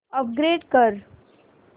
upgrade कर